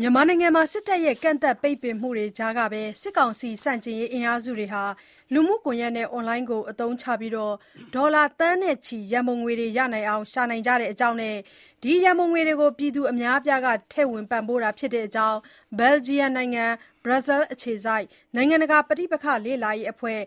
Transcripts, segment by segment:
မြန်မာနိုင်ငံမှာ စစ်တပ်ရဲ့ ကန့်သတ်ပိတ်ပင်မှုတွေကြားကပဲ စစ်ကောင်စီ ဆန့်ကျင်ရေးအင်အားစုတွေက လူမှုကွန်ယက်နဲ့ အွန်လိုင်းကိုသုံးပြီး ဒေါ်လာသန်းနဲ့ချီ ရံပုံတွေရအောင် ရှာနိုင်နေကြကြောင်းနဲ့ ဒီငွေတွေကို ပြည်သူအများအပြားက ထည့်ဝင် ပံ့ပိုးတာဖြစ်ကြောင်း ဘယ်လ်ဂျီယံနိုင်ငံ ဘရတ်ဆဲလ်အခြေစိုက် နိုင်ငံတကာ ပဋိပက္ခလေ့လာရေးအဖွဲ့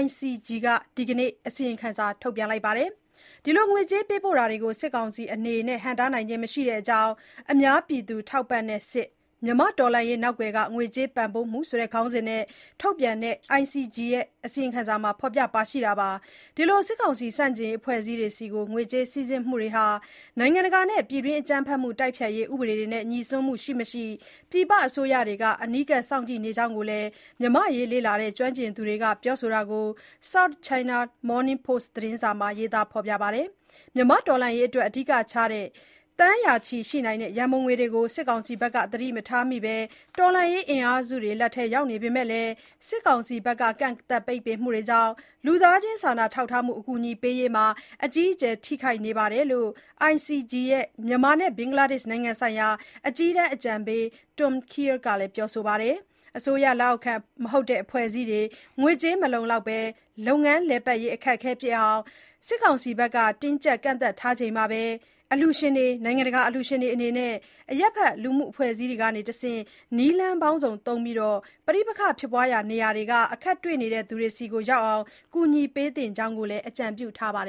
ICG က ဒီနေ့ အစီရင်ခံစာ ထုတ်ပြန်ပါတယ်။ ဒီလို ငွေကြေးပေးပို့တာတွေကို စစ်ကောင်စီအနေနဲ့ ဟန့်တားနိုင်ခြင်းမရှိတဲ့အကြောင်း "အများပြည်သူ ထောက်ပံ့တဲ့ စစ်၊ မြန်မာ့တော်လှန်ရေးနောက်ကွယ်က ငွေကြေးပံ့ပိုးမှု" - ဆိုတဲ့ ခေါင်းစဉ်နဲ့ထုတ်ပြန်တဲ့ ICG ရဲ့ အစီရင်ခံစာမှာ ဖေါ်ပြပါတယ်။ ဒီလို စစ်ကောင်စီ ဆန့်ကျင်ရေးအဖွဲ့အစည်းတွေဆီ ငွေကြေးစီးဆင်းမှုတွေဟာ နိုင်ငံတကာနဲ့ ပြည်တွင်း အကြမ်းဖက်မှုတိုက်ဖျက်ရေး ဥပဒေတွေနဲ့ငြိစွန်းမှု ရှိမရှိ ပြည်ပအစိုးရတွေက အနီးကပ်စောင့်ကြည့်နေကြောင်းလည်း မြန်မာ့အရေး လေ့လာတဲ့ကျွမ်းကျင်သူတွေက ပြောဆိုတာကို South China Morning Post သတင်းစာမှာ ရေးသားပါတယ်။ မြန်မာ့တော်လှန်ရေးအတွက် အဓိကကျတဲ့ သန်းရာချီရှိနိုင်တဲ့ ရံပုံတွေတွေကို စစ်ကောင်စီဘက်ကသတိမထားမိဘဲ တော်လှန်ရေးအင်အားစုတွေလက်ထဲ ရောက်နေပေမဲ့လည်း စစ်တပ်ဘက်က ကန့်သတ်ပိတ်ပင်မှုတွေကြောင့် လူသားချင်းစာနာထောက်ထားမှု အကူအညီပေးရေးမှာ အကြီးအကျယ် ထိခိုက်နေတယ်လို့ ICG ရဲ့ မြန်မာနဲ့ ဘင်္ဂလားဒေ့ရှ်နိုင်ငံဆိုင်ရာ အကြီးတန်းအကြံပေး Tom Kean က ပြောဆိုပါတယ်။ အစိုးရလက်အောက်ခံ မဟုတ်တဲ့အဖွဲ့အစည်းတွေ ငွေကြေးမလုံလောက်ဘဲ လုပ်ငန်းလည်ပတ်ရေးအခက်အခဲဖြစ်အောင် စစ်ကောင်စီဘက်က တင်းကြပ်ကန့်သတ် ထားချိန်မှာ အလှူရှင်တွေ၊ နိုင်ငံတကာအလှူရှင်တွေအနေနဲ့ အရပ်ဘက်လူမှုအဖွဲ့အစည်းတွေကတဆင့် နည်းလမ်းပေါင်းစုံသုံးပြီး ပဋိပက္ခဖြစ်ပွားရာနေရာတွေက အခက်တွေ့နေသူတွေဆီ ရောက်အောင် ကူညီပေးသင့်တဲ့အကြောင်း သူက အကြံပြုပါတယ်